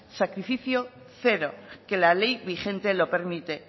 sacrificio cero que la ley vigente lo permite